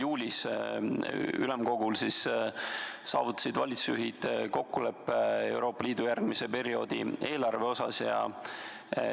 Juulis ülemkogul saavutasid valitsusjuhid kokkuleppe Euroopa Liidu järgmise perioodi eelarve kohta.